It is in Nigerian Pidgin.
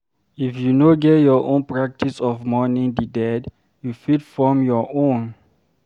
if you no get your own practice of mourning di dead, you fit form your own